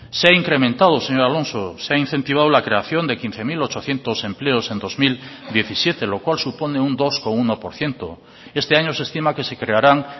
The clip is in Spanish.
se ha incrementado señor alonso se ha incentivado la creación de quince mil ochocientos empleos en el dos mil diecisiete lo cual supone un dos coma uno por ciento este año se estima que se crearán